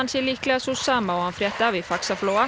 sé líklega sú sama og hann frétti af í Faxaflóa